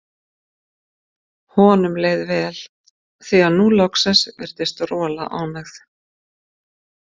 Honum leið vel, því að nú loksins virtist Rola ánægð.